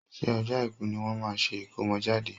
ṣé ọjọ́ Àìkú ní wọ́n máa ṣe ìkómọjáde?